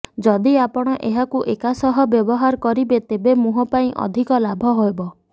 ଯଦି ଆପଣ ଏହାକୁ ଏକା ସହ ବ୍ୟବହାର କରିବେ ତେବେ ମୁହଁ ପାଇଁ ଅଧିକ ଲାଭ ହେବ